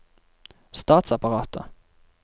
statsapparatet